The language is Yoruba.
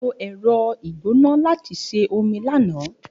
A lo ẹ̀rọ ìgbóná láti sè omi lánàá